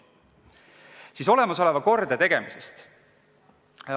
Nüüd siis olemasoleva kordategemisest.